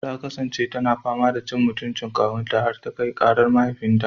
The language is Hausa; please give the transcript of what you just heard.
Ta kasance tana fama da cin mutuncin kawu har ta kai karar mahaifinta.